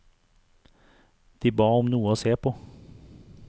De ba om noe å se på.